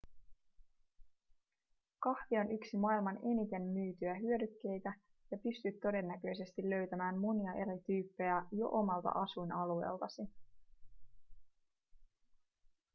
kahvi on yksi maailman eniten myytyjä hyödykkeitä ja pystyt todennäköisesti löytämään monia eri tyyppejä jo omalta asuinalueeltasi